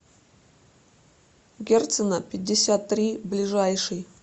герцена пятьдесят три ближайший